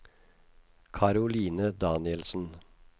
Caroline Danielsen